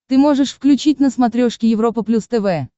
ты можешь включить на смотрешке европа плюс тв